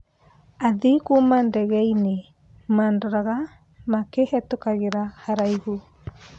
Athii Kuma ndege ĩngĩ madoraga makĩhetũkagĩra haraihu.